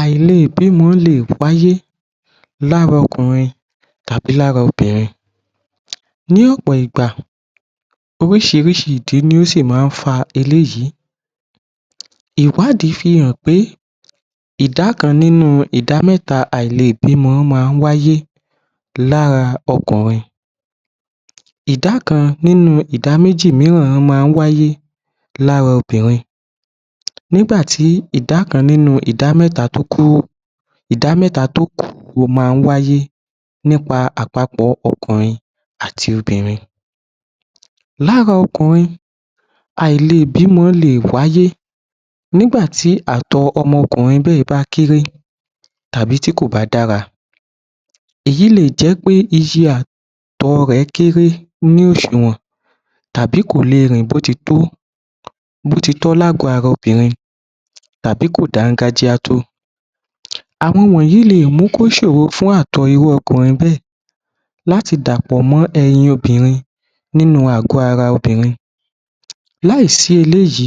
Àìlè bímọ lè páyé lára ọkùnrin tàbí lára obìnrin. Ní ọ̀pọ̀ ìgbà oríṣìírísìí ìdí ló sì máa ń fa eléyì, ìwádìí fi hàn pé ìdá kan nínú ìdá mẹ́ta àìlè bímọ máa ń wáyé lára ọkùnrin. Ìdá kan nínú ìdá méjì mìíràn máa ń wáyé lára obìnrin. Nígbà tí ìdá kan nínú ìdá mẹ́ta tó kù, ìdá méta tó kù ó máa ń wáyé nípa àpapọ̀ ọkùnrin àti obìnrin. Lára ọkùnrin àìlè bímọ lè wáyé, nígbà tí àtọ ọmọkùnrin bẹ́è bá kéré tàbí tí kò bá dára. Èyí lè jẹ́ pé iye àtọ rẹ̀ kéré nínú òṣùwọ̀n tàbí kò lè rìn bó ti tó bó ti tọ́ l'ágọ ara obìnrin, tàbí kò dángájá tó. Àwọn wọ̀nyí lè mú kí ó ṣòro fún àtọ irú ọkùnrin bẹ́ẹ̀ láti dàpọ̀ mọ́ ẹyin obìnrin nínú àgọ ara obìnrin. Láì sí eléyì,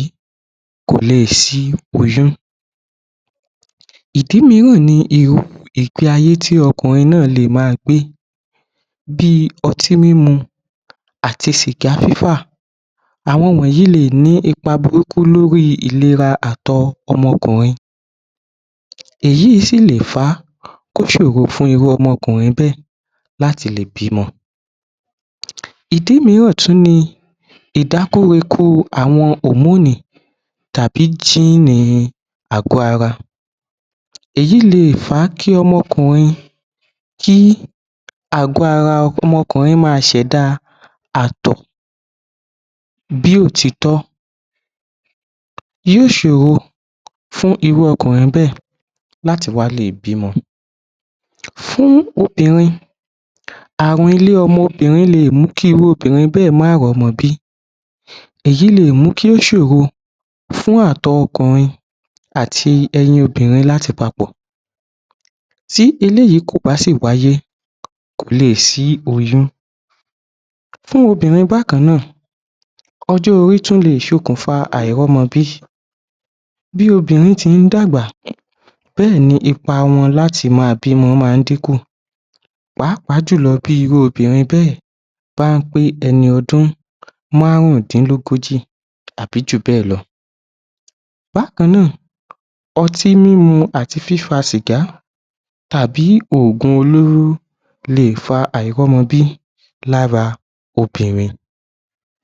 kò lè sí oyún. Ìdí mìíràn ni irú ìgbé-ayé tí ọkùnrin lè máa gbé bí i ọtí mímu, àti sìgá fífà, àwọn wọ̀nyí lè ni ipa burúkú lórí ìlera àtọ ọmọkùnrin, èyí sì lè fa kó ṣòro fún irú ọmọkùnrin bẹ́è láti lè bímọ. Ìdí mìíràn tún ni ìdákóre-kóre àwọn hòmónì tàbí jínì[gene] àgọ ara. Èyí lè fàá kí ọmọkùnrin, kí àgọ ara ọmọkùnrin máa ṣẹ̀da àtọ bí ò ti tọ́ yóò ṣòro fún irú ọkùnrin bẹ́ẹ̀ láti wá lè bímọ. Fún obìnrin, àwọn ilé ọmọ obìnrin lè mú kí irú obìnrin bẹ́ẹ̀ máa rí ọmọ bí èyí lè mu kí ó ṣòro fún àtọ ọkùnrin àti ẹyin obìnrin láti papọ̀ tí eléyì kò bá sì wáyé kò lè sí oyún. Fún obìnrin bákan náà, ọjọ́ orí tún lè ṣokùnfà àìrí ọmọ bí bí obìnrin ti ń dàgbà bẹ́ẹ̀ ni ipa wọn láti máa bímọ máa ń dínkù, pàápàá bẹ́ẹ̀, bá pé ẹni ọdún márùndínlógójì àbí jù bẹ́ẹ̀ lọ. Bákan náà, ọtí mímu àti fífa sìgá tàbí ògùn olóró lè fa àìrọ́mọbí lára ọkùnrin.